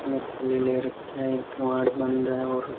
हाथ में थैली ले रखिया है किवाड़ बंद है और --